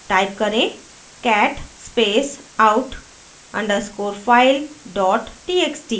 type करेंः cat space out _ underscore file dot txt